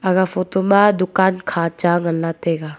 aga photo ma dukan kha cha nganla taiga.